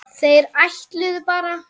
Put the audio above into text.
Þeir ætluðu bara.